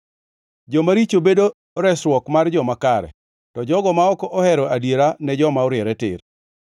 Jomaricho bedo resruok mar joma kare; to jogo ma ok jo-adiera ne joma oriere tir.